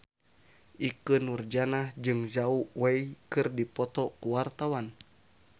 Ikke Nurjanah jeung Zhao Wei keur dipoto ku wartawan